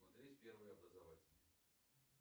смотреть первый образовательный